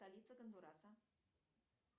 столица гондураса